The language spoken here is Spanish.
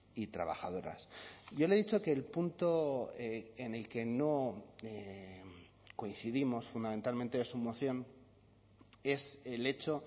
y trabajadoras yo le he dicho que el punto en el que no coincidimos fundamentalmente en su moción es el hecho